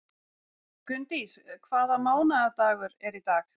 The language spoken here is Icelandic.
Gunndís, hvaða mánaðardagur er í dag?